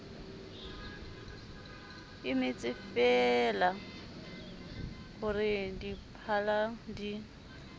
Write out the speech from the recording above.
emetsefeela ho re diphala di